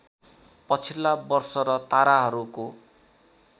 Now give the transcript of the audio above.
पछिल्ला वर्ष र ताराहरूको